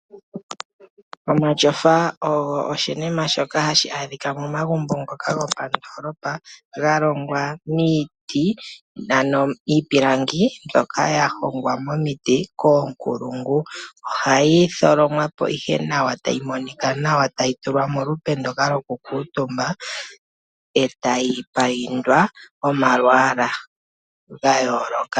Omatyofa ogo oshinima shoka hashi adhika momagumbo ngoka gopandoolopa ,ogalongwa miiti, miipilangi mbyoka yahongwa momiti koonkulungu, ohayi tholomwapo nawa e tayi tulwa molupe lwokukuutumba e tayi payindwa omalwaala ga yooloka.